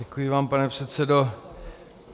Děkuji vám, pane předsedo.